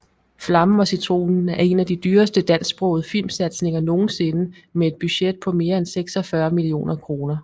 Flammen og Citronen er en af de dyreste dansksprogede filmsatsninger nogensinde med et budget på mere end 46 millioner kroner